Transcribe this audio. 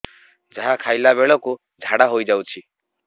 ଯାହା ଖାଇଲା ବେଳକୁ ଝାଡ଼ା ହୋଇ ଯାଉଛି